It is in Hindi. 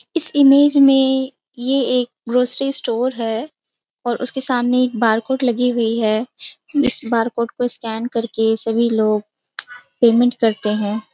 इस इमेज में यह एक ग्रॉसरी स्टोर है और उसके सामने एक बार कोड लगी हुई है इस बार कोड को स्कैन करके सभी लोग पेमेंट करते हैं।